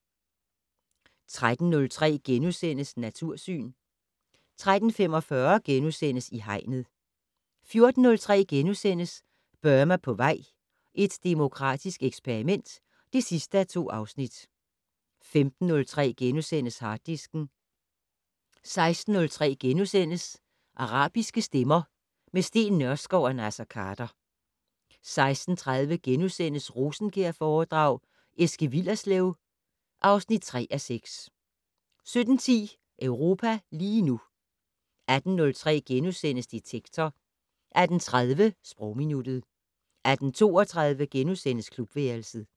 13:03: Natursyn * 13:45: I Hegnet * 14:03: Burma på vej - et demokratisk eksperiment (2:2)* 15:03: Harddisken * 16:03: Arabiske stemmer - med Steen Nørskov og Naser Khader * 16:30: Rosenkjærforedrag: Eske Willerslev (3:6)* 17:10: Europa lige nu 18:03: Detektor * 18:30: Sprogminuttet 18:32: Klubværelset *